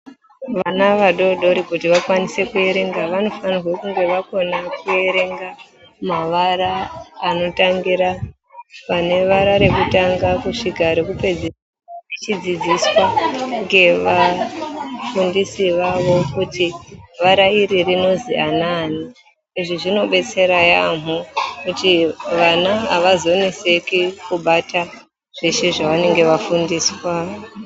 Vana vadodori kuti vanokwanisa kuverenga vanofanira kunge vakona kuverenga mavara anotangira pane vara rekutanga kusvika rekupedzisira vechidzidziswa ngevafundisi vavo kuti vara iri rinozwi anani izvi zvinodetsera yamho kuti vana avazoneseki kubata zveshe zvavanenge vafundiswa.